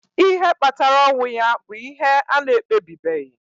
Ihe kpatara ọnwụ ya bụ ihe a na-ekpebibeghị.